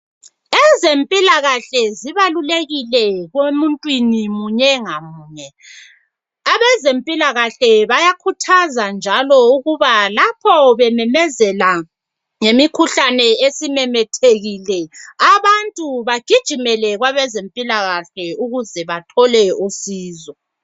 Ezempilakahle zibalulekile kwemuntwini munye ngamunye , abezempilakahle bayakhuthaza njalo ukuba lapho bememezela ngemikhuhlane esimemethekile abantu bagijimele kwabezempilakahle ukuze bathole usizo